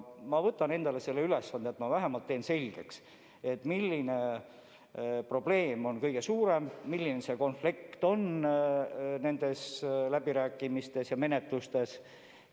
Ma võtan endale selle ülesande, et ma vähemalt teen selgeks, mis probleem on kõige suurem, mis konflikt nendes läbirääkimistes ja menetlustes on.